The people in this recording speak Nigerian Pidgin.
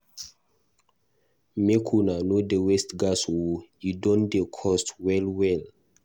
Make una no dey waste gas o e don dey cost well-well.